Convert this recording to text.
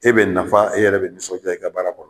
E be nafa e yɛrɛ be nisɔnja i ka baara kɔnɔ